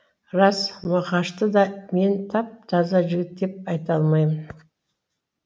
рас мұқашты да мен тап таза жігіт деп айта алмаймын